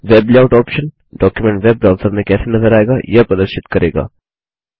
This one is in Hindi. web layout option document web browser में कैसे नज़र आएगा यह प्रदर्शित करेगा